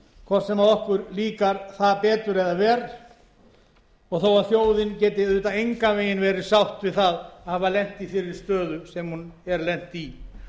hvort sem okkur líkar það betur eða verr og þó að þjóðin geti auðvitað engan veginn verið sátt við það að hafa lent í þeirri stöðu sem hún er lent í